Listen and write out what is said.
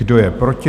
Kdo je proti?